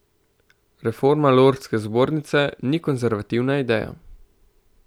Reforma lordske zbornice ni konservativna ideja.